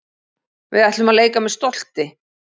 Við ætlum að leika með stolti